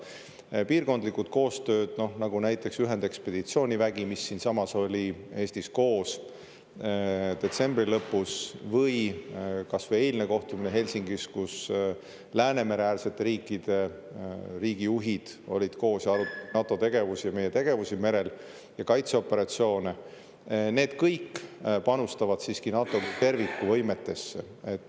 Need piirkondlikud koostööd, nagu näiteks ühendekspeditsioonivägi, mis oli siinsamas Eestis koos detsembri lõpus, või kas või eilne kohtumine Helsingis, kus Läänemere-äärsete riikide juhid olid koos ja arutasid NATO tegevusi ja meie tegevusi merel ja kaitseoperatsioone, kõik panustavad siiski NATO kui terviku võimetesse.